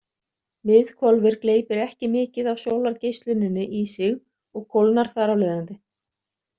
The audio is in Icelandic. Miðhvolfið gleypir ekki mikið af sólargeisluninni í sig og kólnar þar af leiðandi.